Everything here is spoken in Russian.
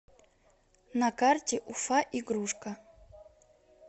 на карте уфа игрушка